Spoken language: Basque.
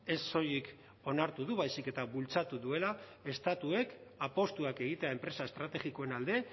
ez soilik onartu du baizik eta bultzatu duela estatuek apustuak egitea enpresa estrategikoen alde